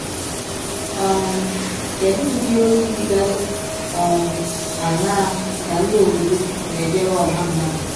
um Kedụ Ụdị ọzi dịgasị um aṅaa ka ndị ọbọdọ na - ejere ọha mmadụ?